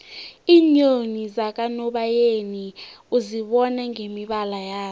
iinyoni zakanobayeni uzibona ngemibala yazo